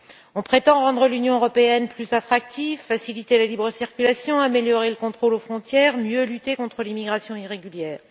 On prétend rendre l'Union européenne plus attractive, faciliter la libre circulation, améliorer le contrôle aux frontières et mieux lutter contre l'immigration irrégulière.